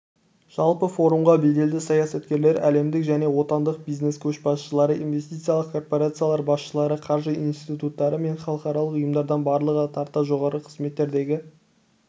жалпы форумға беделді саясаткерлер әлемдік және отандық бизнес көшбасшылары инвестициялық корпорациялар басшылары қаржы институттары мен халықаралық ұйымдардан барлығы тарта жоғарғы қызметтердегі